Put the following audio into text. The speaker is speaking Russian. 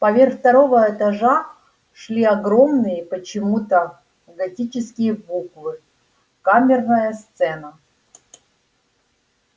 поверх второго этажа шли огромные почему-то готические буквы камерная сцена